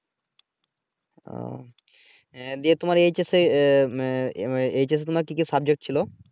ওহ আহ দেব তোমার H S এ উম তোমার কি কি সাবজেক্ট ছিলো?